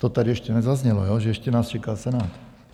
To tady ještě nezaznělo, že ještě nás čeká Senát.